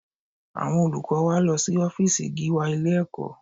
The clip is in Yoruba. Àwọn olùkọ́ wa lọ sí ọ́fíìsì Gíwá ilé-ẹ̀kọ́